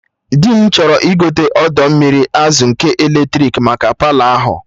Dị m chọrọ igote odo mmiri azụ nke eletrik maka Palọ ahụ